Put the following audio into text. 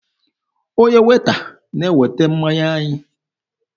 Onye Weeta na-eweta mmanya anyị.